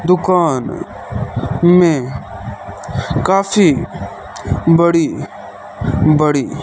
दुकान में काफी बड़ी बड़ी--